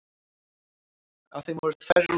Af þeim voru tvær rútur.